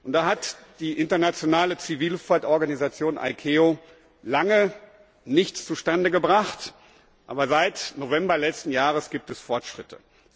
Da hat die internationale Zivilluftfahrtorganisation ICAO lange nichts zustande gebracht, aber seit November letzten Jahres gibt es Fortschritte.